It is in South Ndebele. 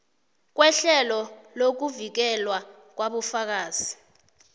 kwehlelo lokuvikelwa kwabofakazi